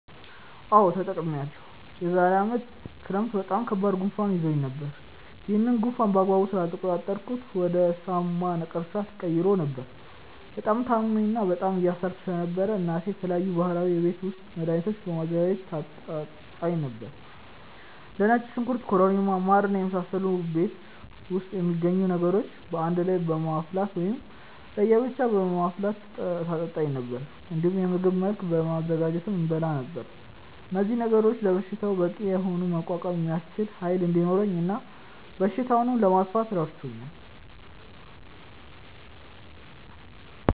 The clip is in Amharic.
አዎ ተጠቅሜያለሁ። የዛሬ አመት ክረምት በጣም ከባድ ጉንፋን ይዞኝ ነበር። ያንን ጉንፋን በአግባቡ ስላልተቆጣጠርኩት ወደ ሳምባ ነቀርሳ ተቀይሮ ነበር። በጣም ታምሜ እና በጣም እየሳልኩ ስለነበር እናቴ የተለያዩ ባህላዊ የቤት ውስጥ መድሀኒቶችን በማዘጋጀት ታጠጣኝ ነበር። እንደ ነጭ ሽንኩርት ኮረሪማ ማር እና የመሳሰሉ ቤት ውስጥ የሚገኙ ነገሮችን በአንድ ላይ በማፍላት ወይም ለየ ብቻ በማፍላት ታጠጣኝ ነበር። እንዲሁም በምግብ መልክ በማዘጋጀትም እበላ ነበር። እነዚህ ነገሮች ለበሽታው በቂ የሆነ መቋቋም የሚያስችል ኃይል እንዲኖረኝ እና በሽታውንም ለማጥፋት ረድቶኛል።